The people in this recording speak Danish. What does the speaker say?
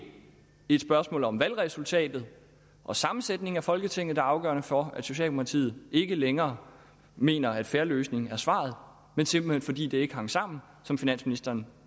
et spørgsmål om valgresultatet og sammensætningen af folketinget der er afgørende for at socialdemokratiet ikke længere mener at fair løsning er svaret men simpelt hen fordi det ikke hang sammen som finansministeren